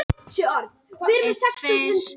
Eldþóra, hvað er klukkan?